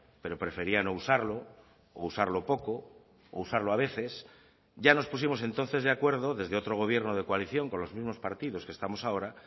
pero prefería no usarlo o usarlo poco o usarlo a veces ya nos pusimos entonces de acuerdo desde otro gobierno de coalición con los mismos partidos que estamos ahora